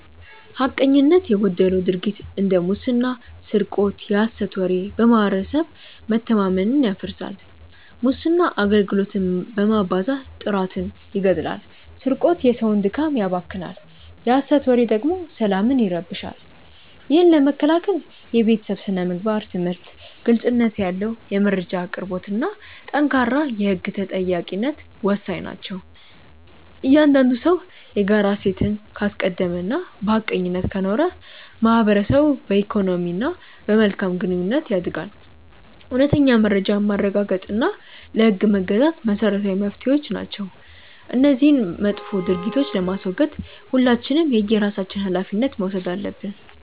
ሐቀኝነት የጎደለው ድርጊት እንደ ሙስና ስርቆት የሐሰት ወሬ በማህበረሰብ መተማመንን ያፈርሳል። ሙስና አገልግሎትን በማዛባት ጥራትን ይገድላል ስርቆት የሰውን ድካም ያባክናል የሐሰት ወሬ ደግሞ ሰላምን ይረብሻል። ይህን ለመከላከል የቤተሰብ ስነ-ምግባር ትምህርት፣ ግልጽነት ያለው የመረጃ አቅርቦትና ጠንካራ የህግ ተጠያቂነት ወሳኝ ናቸው። እያንዳንዱ ሰው የጋራ እሴትን ካስቀደመና በሐቀኝነት ከኖረ ማህበረሰቡ በኢኮኖሚና በመልካም ግንኙነት ያድጋል። እውነተኛ መረጃን ማረጋገጥና ለህግ መገዛት መሰረታዊ መፍትሄዎች ናቸው። እነዚህን መጥፎ ድርጊቶች ለማስወገድ ሁላችንም የየራሳችንን ሃላፊነት መውሰድ አለብን።